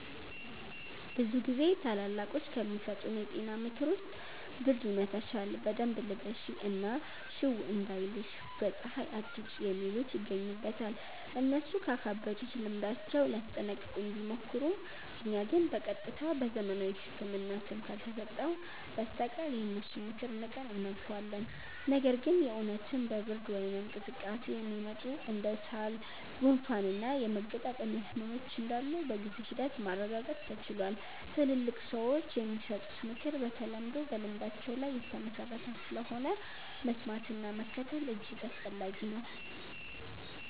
ብዙ ጊዜ ታላላቆች ከሚሰጡን የጤና ምክር ውስጥ ብርድ ይመታሻል በደንብ ልበሺ እና ሽው እንዳይልሽ በ ፀሃይ አትውጪ የሚሉት ይገኙበታል። እነሱ ካካበቱት ልምዳቸው ሊያስጠነቅቁን ቢሞክሩም እኛ ግን በ ቀጥታ በዘመናዊው ህክምና ስም ካልተሰጠው በስተቀር የነሱን ምክር ንቀን እናልፈዋለን። ነገር ግን የ እውነትም በ ብርድ ወይም ቅዝቃዜ የሚመጡ እንደ ሳል፣ ጉንፋን እና የመገጣጠሚያ ህመሞች እንዳሉ በጊዜ ሂደት ማረጋገጥ ተችሏል። ትላልቅ ሰዎች የሚሰጡት ምክር በተለምዶ በልምዳቸው ላይ የተመሠረተ ስለሆነ፣ መስማትና መከተል እጅግ አስፈላጊ ነው።